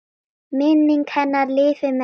Minning hennar lifir með þeim.